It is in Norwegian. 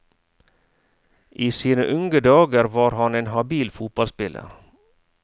I sine unge dager var han en habil fotballspiller.